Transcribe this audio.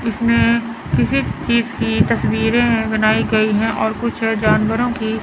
इसमें किसी चीज की तस्वीरें हैं बनाई गई हैं और कुछ हैं जानवरों की--